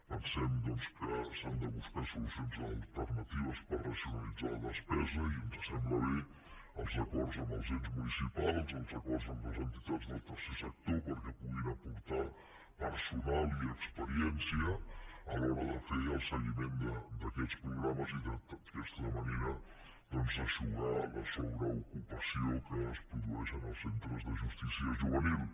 pensem doncs que s’han de buscar solucions alternatives per racionalitzar la despesa i ens sembla bé els acords amb els ens municipals els acords amb les entitats del tercer sector perquè puguin aportar personal i experiència a l’hora de fer el seguiment d’aquests programes i d’aquesta manera eixugar la sobreocupa ció que es produeix en els centres de justícia juvenil